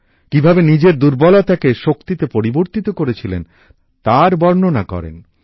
কিভাবে নিজের দুর্বলতাকে শক্তিতে পরিবর্তিত করেছিলেন তার বর্ননা করেন